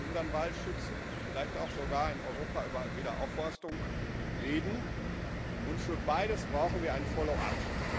Wir müssen unseren Wald schützen, vielleicht auch sogar in Europa über Wiederaufforstung reden, und für beides brauchen wir ein Follow up.